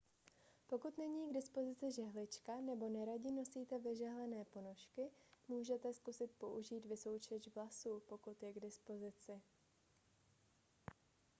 pokud není k dispozici žehlička nebo neradi nosíte vyžehlené ponožky můžete zkusit použít vysoušeč vlasů pokud je k dispozici